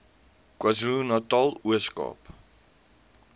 kwazulunatal ooskaap